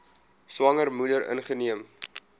swanger moeder ingeneem